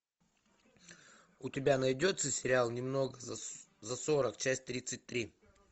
у тебя найдется сериал немного за сорок часть тридцать три